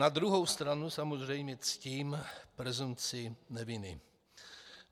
Na druhou stranu samozřejmě ctím presumpci neviny.